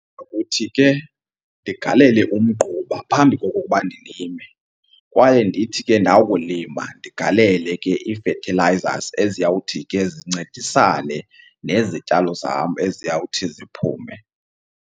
Ndokuthi ke ndigalele umgquba phambi kokokuba ndilime kwaye ndithi ke ndakulima ndigalele ke ii-fertilizers eziyawuthi ke zincedisane nezityalo zam eziyawuthi ziphume.